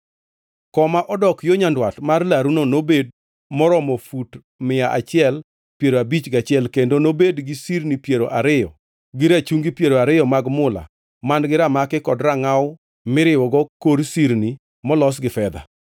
Koma odok yo nyandwat mar laruno nobed maromo fut mia achiel piero abich gachiel kendo nobed gi sirni piero ariyo gi rachungi piero ariyo mag mula man-gi ramaki kod rangʼaw miriwogo kor sirni molos gi fedha.